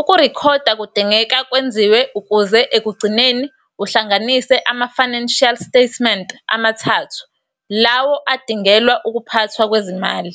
Ukurekhoda kudingeka kwenziwe ukuze ekugcineni uhlanganise ama-financial statement amathathu lawo adingelwa ukuphathwa kwezimali.